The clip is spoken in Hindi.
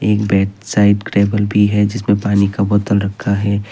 एक बेड साइट टेबल भी है जिसमें पानी का बोतल रखा है।